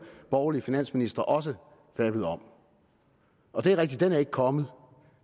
borgerlige finansministre også fablede om og det er rigtigt at den ikke er kommet